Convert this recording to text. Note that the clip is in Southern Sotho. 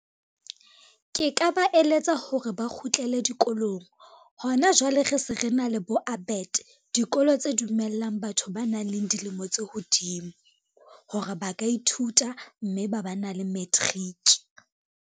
Ke ka ba eletsa hore ba kgutlele dikolong, hona jwale re se re na le bo ABET dikolo tse dumellang batho ba nang le dilemo tse hodimo, hore ba ka ithuta mme ba ba na le matric.